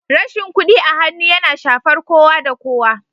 Rashin kuɗi a hannu yana shafar kowa da kowa